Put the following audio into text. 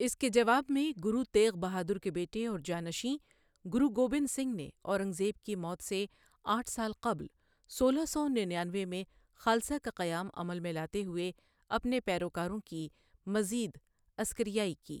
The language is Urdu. اس کے جواب میں، گرو تیغ بہادر کے بیٹے اور جانشین، گرو گوبند سنگھ نے، اورنگ زیب کی موت سے آٹھ سال قبل، سولہ سو نینیانوے میں خالصہ کا قیام عمل میں لاتے ہوئے، اپنے پیروکاروں کی مزید عسکریائی کی۔